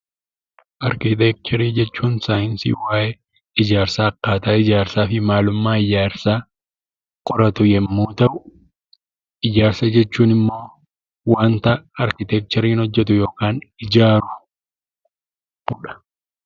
Arkiteekcharii jechuun saayinsii waa'ee ijaarsaa, akkaataa ijaarsaa fi maalummaa ijaarsaa qoratu yommuu ta'u, ijaarsa jechuun immoo waanta arkiteekchariin hojjetu yookaan ijaarudha.